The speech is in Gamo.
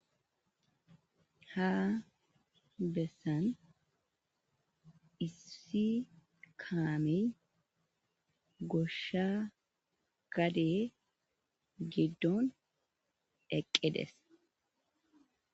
Ha bessan issi kaamey goshsha gade giddon eqqides.